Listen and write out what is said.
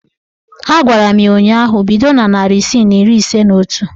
A gwara m ya ụnyaahụ "Bido na narị isii na iri ise na otu!